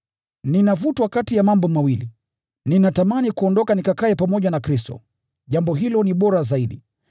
Ninavutwa kati ya mambo mawili: Ninatamani kuondoka nikakae pamoja na Kristo, jambo hilo ni bora zaidi.